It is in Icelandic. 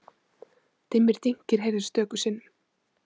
Dimmir dynkir heyrðust stöku sinnum.